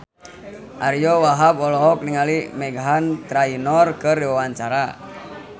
Ariyo Wahab olohok ningali Meghan Trainor keur diwawancara